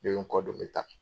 Ne be nkɔ don n bɛ taa.